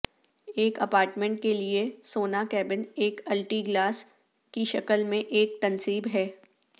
ایک اپارٹمنٹ کے لئے سونا کیبن ایک الٹی گلاس کی شکل میں ایک تنصیب ہے